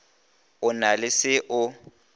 o na le se o